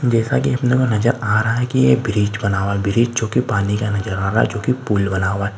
जैसा कि अपने को नजर आ रहा है कि यह ब्रिज बना हुआ है ब्रिज जो की पानी का नजर आ रहा है जो की पुल बना हुआ है।